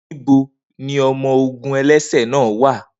Nibo ni ọmọ-ogun ẹlẹsẹ naa wa?